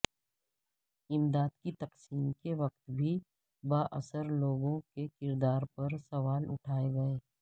امداد کی تقسیم کے وقت بھی بااثر لوگوں کے کردار پر سوال اٹھائے گئے